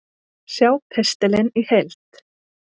Sjá pistilinn í heild